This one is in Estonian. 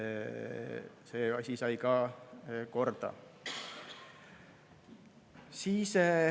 See asi sai ka korda.